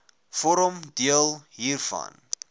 vorm deel hiervan